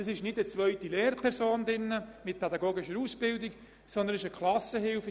Es ist keine zweite Lehrperson mit pädagogischer Ausbildung anwesend, sondern eine Klassenhilfe.